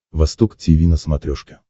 восток тиви на смотрешке